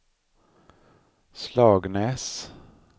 Slagnäs